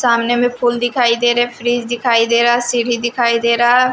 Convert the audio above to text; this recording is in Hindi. सामने में फूल दिखाई दे रहे हैं फ्रिज दिखाई दे रहा है सीढ़ी दिखाई दे रहा--